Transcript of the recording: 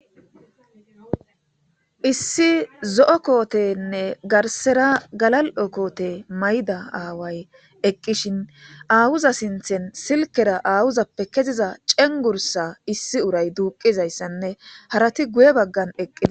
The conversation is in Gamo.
Issi zo'o kootenne garsera galal'o koote mayda aaway eqqishin aawuza sinthen silkera aawuzappe keziza cengursa issi uray duuqizayssanne harati guye baggan eqqia.